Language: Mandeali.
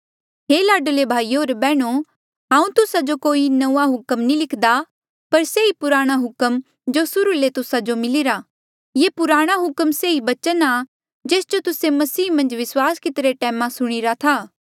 हे लाडले भाईयो होर बैहणो हांऊँ तुस्सा जो कोई नंऊँआं हुक्म नी लिख्दा पर से ई पुराणा हुक्म जो सुर्हू ले तुस्सा जो मिलीरा ये पुराणा हुक्म से ही बचन आ जेस जो तुस्से मसीही मन्झ विस्वास किती रे टैमा सुणीरा था